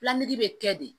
bɛ kɛ de